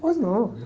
Pois não, eu...